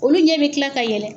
Olu ɲɛ bɛ kila ka yɛlɛ